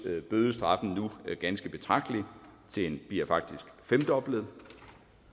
bødestraffen nu ganske betragteligt den bliver faktisk femdoblet